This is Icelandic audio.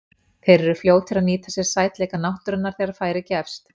Þeir eru fljótir að nýta sér sætleika náttúrunnar þegar færi gefst.